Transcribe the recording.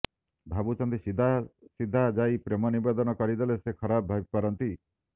ଭାବୁଛନ୍ତି ସିଧାସିଧା ଯାଇ ପ୍ରେମ ନିବେଦନ କରିଦେଲେ ସେ ଖରାପ ଭାବି ପାରନ୍ତି